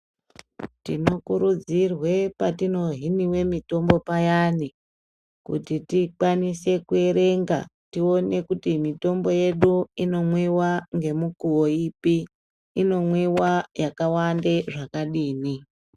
Tinokurudzirwe patinohiniwe mitombo payani kuti tikwanise kuerenga tione kuti mitombo yedu inomwiwa ngemukuwo ipi inomwiwa yakawanda zvakadini.